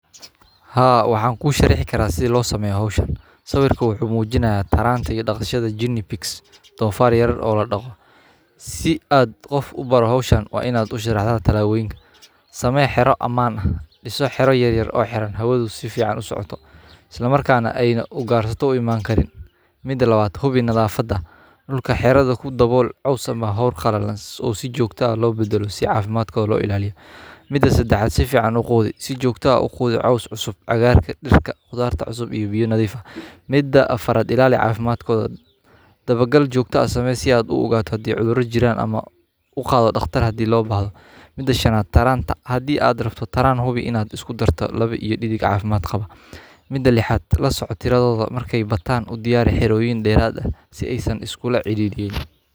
Haa, waxaan kuu shareexi karaa si loo sameyo hawshaan. Sawirku wuxuu muujinayaa taraantaga dhaqshada Guinea pigs, dhoofaare yar oo la dhaho. Si aad qof u baro hawshaan waa inaad ushi raadhalata la weyn samay xero ammaan ah. diisoo xero yar yar oo xiran, hawadu si fiican u socoto. Isla markaana ay u gaarsato imaan karin mida 2 aad hubi nadaafadda. Dhulka xerada ku dabool, cawisama hawr qallalans oo sii joogto ah loo beddelo si caafimaadkooda loo ilaaliyo. Mida 3 aad si fiican u quudi si joogto ah u qudi caws cusub, cagaarka, dirka, khudaarta cusub iyo biyo-nadiifaha. Mida 4 aad ilaali caafimaadkooda. Dabagal joogta samee si aad u ogaato hodii cudurro jiraan ama u qaado dhakhtar haddii loo baahdo. Mida 5 aad taraanta. Haddii aad rafto taraan hubi inaad isku darto laba iyo dhidig caafimaad qaba. Mida 6 aad la socotirododa markay bataan u diyaari xerooin dheeraada si aysan iskula cidhiidhiin.